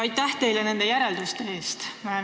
Aitäh teile nende järelduste eest!